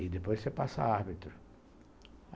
E depois você passa a árbitro.